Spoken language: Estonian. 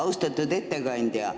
Austatud ettekandja!